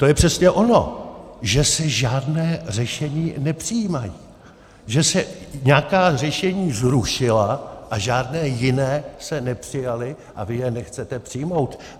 To je přesně ono, že se žádná řešení nepřijímají, že se nějaká řešení zrušila a žádná jiná se nepřijala a vy je nechcete přijmout.